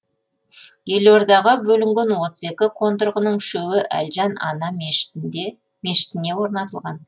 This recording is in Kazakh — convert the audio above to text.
елордаға бөлінген отыз екі қондырғының үшеуі әлжан ана мешітіне орнатылған